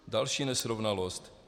Další nesrovnalost.